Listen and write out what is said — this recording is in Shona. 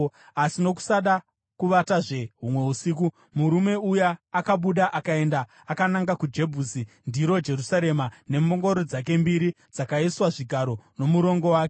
Asi, nokusada kuvatazve humwe usiku, murume uya akabuda akaenda akananga kuJebhusi (ndiro Jerusarema), nembongoro dzake mbiri dzakaiswa zvigaro, nomurongo wake.